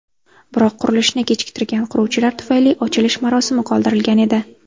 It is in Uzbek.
Biroq qurilishni kechiktirgan quruvchilar tufayli ochilish marosimi qoldirilgan edi.